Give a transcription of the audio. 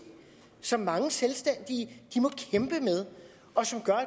som mange selvstændige må kæmpe med og som gør